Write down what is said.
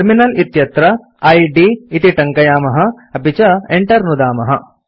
terminal इत्यत्र इद् इति टङ्कयामः160 अपि च enter नुदामः